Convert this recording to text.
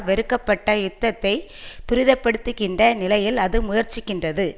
வெறுக்கப்பட்ட யுத்தத்தை துரிதப்படுத்துகின்ற நிலையில் அது முயற்சிக்கின்றது